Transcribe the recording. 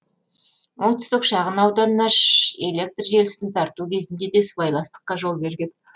оңтүстік шағын ауданына электр желісін тарту кезінде де сыбайластыққа жол берген